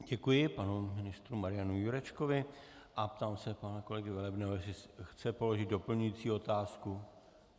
Děkuji panu ministru Marianu Jurečkovi a ptám se pana kolegy Velebného, jestli chce položit doplňující otázku.